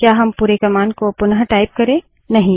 क्या हम पुरे कमांड को पुनटाइप करे160